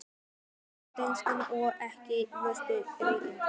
Lítil og dökkhærð og ekki ósvipuð Regínu